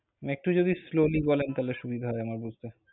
একটু যদি slowly বলেন, তাহলে সুবিধা হয় আমার বুজতে।